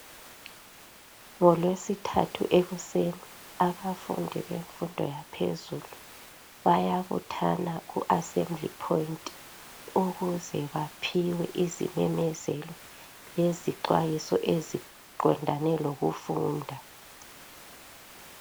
NgoLwesithathu ekuseni abafundi bemfundo yaphezulu bayabuthana ku Assembly Point ukuze baphiwe izimemezelo lezixwayiso eziqondane lokufunda